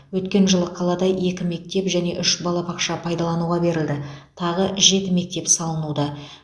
өткен жылы қалада екі мектеп және үш балабақша пайдалануға берілді тағы жеті мектеп салынуда